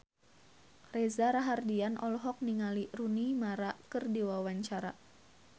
Reza Rahardian olohok ningali Rooney Mara keur diwawancara